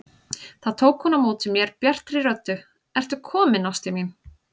Þá tók hún á móti mér bjartri röddu: Ertu kominn ástin mín!